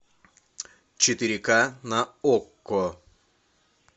четыре ка на окко